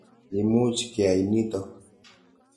Imuch keyai nitok.